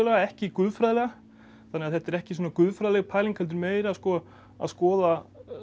ekki guðfræðilega þannig að þetta er ekki guðfræðileg pæling heldur meira að skoða